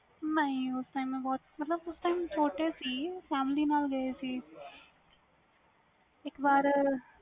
ਵੀ ਹੈ ਗਾ ਓਥੇ ਵੀ ਗਏ ਸੀ ਤੁਸੀ ok ok